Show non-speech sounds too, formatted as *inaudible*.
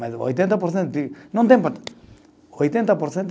Mas oitenta por cento, *unintelligible* não tem importância. Oitenta por cento